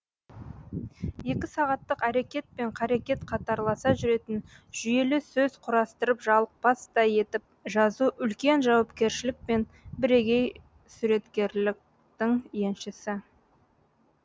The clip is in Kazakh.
екі сағаттық әрекет пен қарекет қатарласа жүретін жүйелі сөз құрастырып жалықпастай етіп жазу үлкен жауапкершілік пен бірегей суреткерлітің еншісі